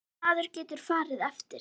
Sem maður getur farið eftir.